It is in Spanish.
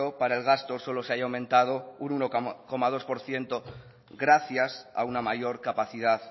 para el gasto solo se haya aumentado un uno coma dos por ciento gracias a una mayor capacidad